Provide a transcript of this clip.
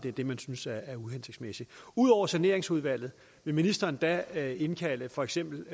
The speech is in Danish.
er det man synes er uhensigtsmæssigt ud over saneringsudvalget vil ministeren da indkalde for eksempel